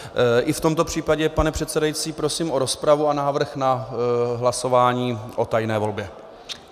I v tomto případě, pane předsedající, prosím o rozpravu a návrh na hlasování o tajné volbě.